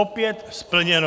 Opět splněno.